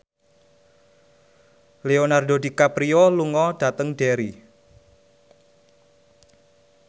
Leonardo DiCaprio lunga dhateng Derry